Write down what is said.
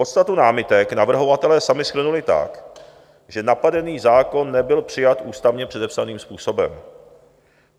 Podstatu námitek navrhovatelé sami shrnuli tak, že napadený zákon nebyl přijat ústavně předepsaným způsobem.